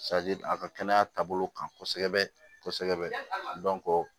a ka kɛnɛya taabolo kan kosɛbɛ kosɛbɛ